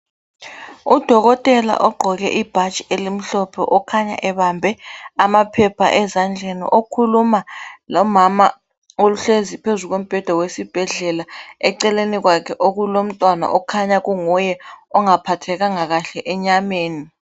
Udokotela ogqoke ibhatshi elimhlophe, okhanya ebambe amaphepha ezandleni. Okhuluma lomama ohlezi phezu kombheda wesibhedlela, eceleni kwakhe, okulomntwana, okhanye kunguye ongaphathekanga kahle enyameni.